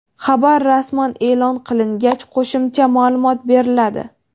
Xabar rasman e’lon qilingacha qo‘shimcha ma’lumot beriladi.